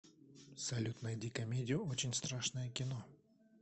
салют найди комедию очень страшное кино